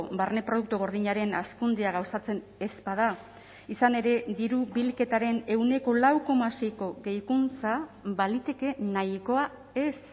barne produktu gordinaren hazkundea gauzatzen ez bada izan ere diru bilketaren ehuneko lau koma seiko gehikuntza baliteke nahikoa ez